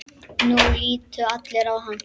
Nú litu allir á hann.